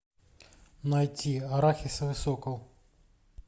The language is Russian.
найти арахисовый сокол